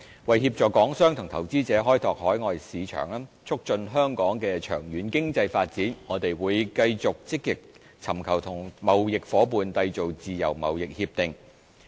為協助港商及投資者開拓海外市場，促進香港的長遠經濟發展，我們會繼續積極尋求與貿易夥伴締結自貿協定。